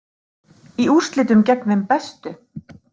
Í úrslitum gegn þeim bestu